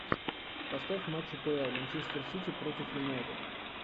поставь матч апл манчестер сити против юнайтед